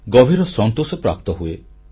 ଗଭୀର ସନ୍ତୋଷ ପ୍ରାପ୍ତ ହୁଏ